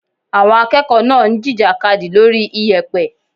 Àwọn akẹ́kọ̀ọ́ náà ń jìjàkadì lórí iyẹ̀pẹ̀.